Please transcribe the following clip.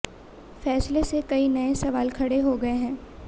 फैसले से कई नये सवाल खड़े हो गये हैं